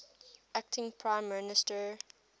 acting prime minister